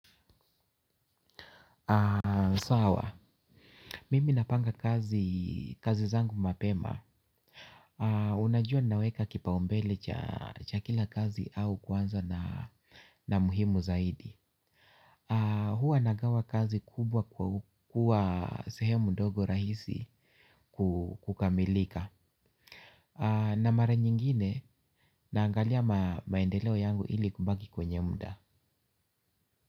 Sawa, mimi napanga kazi kazi zangu mapema. Unajua ninaweka kipaumbele cha kila kazi au kuanza na na muhimu zaidi. Huwa nagawa kazi kubwa kwa kuwa sehemu ndogo rahisi kukamilika. Na mara nyingine naangalia maendeleo yangu ili kubaki kwenye muda.